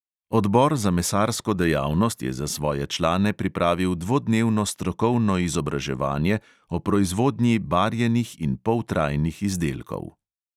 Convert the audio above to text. Odbor za mesarsko dejavnost je za svoje člane pripravil dvodnevno strokovno izobraževanje o proizvodnji barjenih in poltrajnih izdelkov.